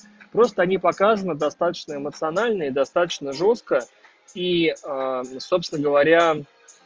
просто не показана достаточно эмоционально и достаточно жёстко и собственно говоря